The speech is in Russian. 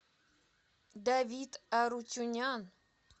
давид арутюнян